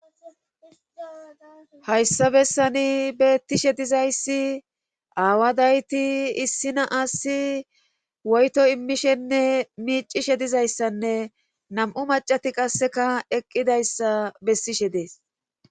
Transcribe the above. Hayssa bessani beettishe dizayssi aawadayti issina assi woyto immishenne miicishe dizayssanne nam'u macati qasseka eqqidayssa bessishe dees.